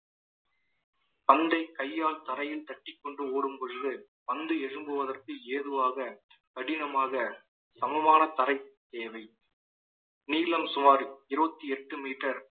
பந்தை கையால் தரையில் தட்டிக் கொண்டு ஓடும் பொழுது பந்து எழும்புவதற்கு ஏதுவாக கடினமாக சமமான தரை தேவை நீளம் சுமார் இருபத்தி எட்டு metre